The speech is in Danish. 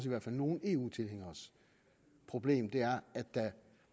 i hvert fald nogle eu tilhængeres problem er at der